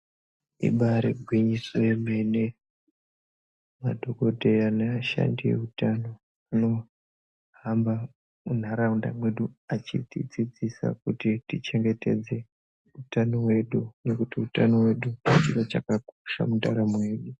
Ibari gwinyiso yemene. Madhokodheya neashandi eutano anofamba munharaunda mwedu achitidzidzisa kuti tichengetedze utano hwedu nekuti utano hwedu chinhu chakakosha mundaramo yedu.